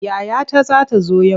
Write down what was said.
Yayata za ta zo yau.